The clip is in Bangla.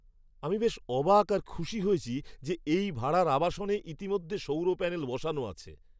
আমি বেশ অবাক আর খুশি হয়েছি যে এই ভাড়ার আবাসনে ইতিমধ্যেই সৌর প্যানেল বসানো আছে।